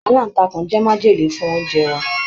Alantakun jẹ májèlé fún oúnjẹ wa.